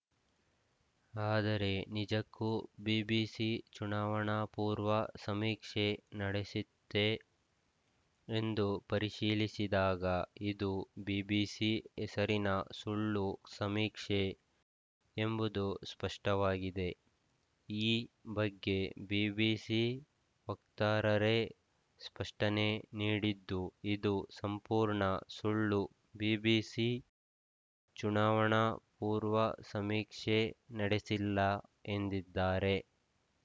ಆದರೆ ನಿಜಕ್ಕೂ ಬಿಬಿಸಿ ಚುನಾವಣಾಪೂರ್ವ ಸಮೀಕ್ಷೆ ನಡೆಸಿತ್ತೇ ಎಂದು ಪರಿಶೀಲಿಸಿದಾಗ ಇದು ಬಿಬಿಸಿ ಹೆಸರಿನ ಸುಳ್ಳು ಸಮೀಕ್ಷೆ ಎಂಬುದು ಸ್ಪಷ್ಟವಾಗಿದೆ ಈ ಬಗ್ಗೆ ಬಿಬಿಸಿ ವಕ್ತಾರರೇ ಸ್ಪಷ್ಟನೆ ನೀಡಿದ್ದು ಇದು ಸಂಪೂರ್ಣ ಸುಳ್ಳು ಬಿಬಿಸಿ ಚುನಾವಣಾ ಪೂರ್ವ ಸಮೀಕ್ಷೆ ನಡೆಸಿಲ್ಲ ಎಂದಿದ್ದಾರೆ